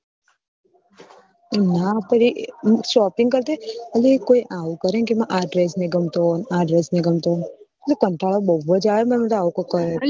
એમના પર એ shopping કરતી હોય અલી કોઈ આવું કરેને કે મને આ dress નહિ ગમતો આ dress નહિ ગમતો કંટાળો બહુ જ આવે મન તો આવું કોક કરે તો